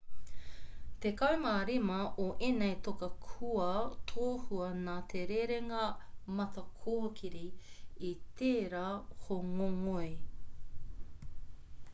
tekau mā rima o ēnei toka kua tohua nā te rerenga matakōkiri i tērā hōngongoi